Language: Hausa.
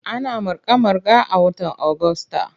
Ana marka-marka a watan Agusta.